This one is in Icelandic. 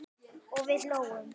og við hlógum.